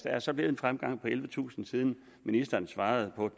altså været en fremgang på ellevetusind siden ministeren svarede på